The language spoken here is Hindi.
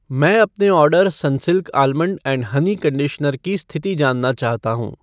मैं अपने order Sunsilk almond and honey conditioner की स्थिति जानना चाहता हूँ।